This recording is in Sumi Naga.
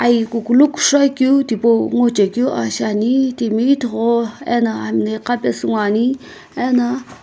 ai kukulu kushou akeu tipau ngochekeu aa shiani timi ithughu ena hami na iqapesu ngoani ena.